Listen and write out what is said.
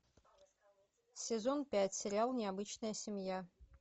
сезон пять сериал необычная семья